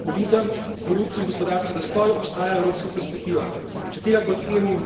Za države, ki zavrnejo populizem, korupcijo in gospodarski zastoj, obstaja evropska perspektiva.